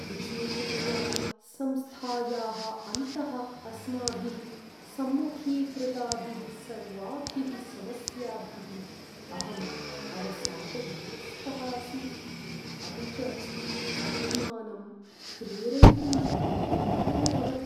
विशेषतया संस्थायाः अन्तः अस्माभिः सम्मुखीकृताभिः सर्वाभिः समस्याभिः अहं अवसादग्रस्तः अस्मि, अपि च आत्मानं प्रेरयितुं कष्टाय भवति।